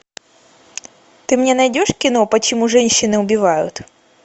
ты мне найдешь кино почему женщины убивают